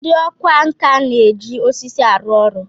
Ndị ọkwá nkà na-eji osisi arụ ọrụ